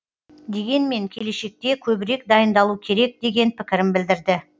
дегенмен келешекте көбірек дайындалу керек деген пікірін білдірді